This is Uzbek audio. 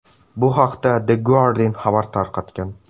Bu haqda The Guardian xabar tarqatgan .